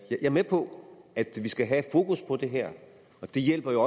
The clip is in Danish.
er med på at vi skal have fokus på det her og det hjælper